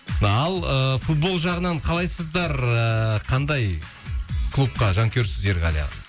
ал ыыы футбол жағынан қалайсыздар ыыы қандай клубқа жанкүйерсіз ерғали аға